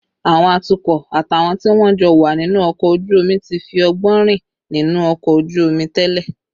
Àwọn atukọ̀ àtàwọn tí wọ́n jọ wà nínú ọkọ̀ ojú omi ti fi ọgbọ́n rìn nínú ọkọ̀ ojú omi tẹ́lẹ̀